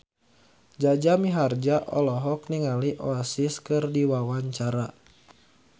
Jaja Mihardja olohok ningali Oasis keur diwawancara